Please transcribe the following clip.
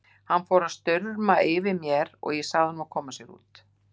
Hann fór að stumra yfir mér en ég sagði honum að koma sér út.